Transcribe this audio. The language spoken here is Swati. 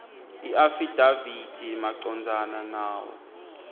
iafidavithi macondzana nawo